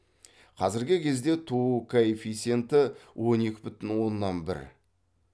қазіргі кезде туу коэффициенті он екі бүтін оннан бір